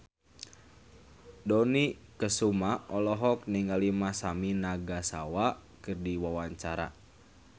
Dony Kesuma olohok ningali Masami Nagasawa keur diwawancara